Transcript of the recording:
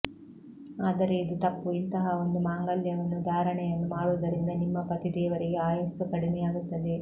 ಆದರೆ ಇದು ತಪ್ಪು ಇಂತಹ ಒಂದು ಮಾಂಗಲ್ಯವನ್ನು ಧಾರಣೆಯನ್ನು ಮಾಡುವುದರಿಂದ ನಿಮ್ಮ ಪತಿ ದೇವರಿಗೆ ಆಯಸ್ಸು ಕಡಿಮೆಯಾಗುತ್ತದೆ